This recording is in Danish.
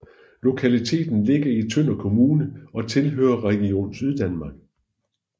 Lokaliteten ligger i Tønder Kommune og tilhører Region Syddanmark